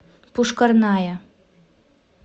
пушкарная